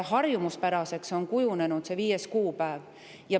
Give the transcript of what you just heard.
Harjumuspäraseks on kujunenud see viies kuupäev.